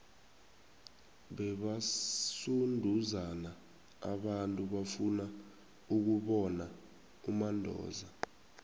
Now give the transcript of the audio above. bebasunduzana abantu bafuna ukubona umandoza